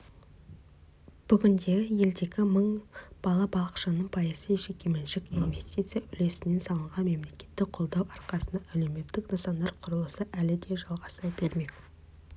бүгінде елдегі мың бала-бақшаның пайызы жекеменшік инвестиция үлесімен салынған мемлекеттік қолдау арқасында әлеуметтік нысандар құрылысы әлі де жалғаса бермек